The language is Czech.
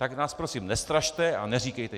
Tak nás prosím nestrašte a neříkejte...